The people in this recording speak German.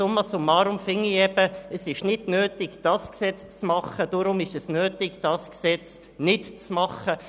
Summa summarum finde ich also, dass es nicht nötig ist, dieses Gesetz zu machen, und deshalb ist es nötig, das Gesetz zu machen.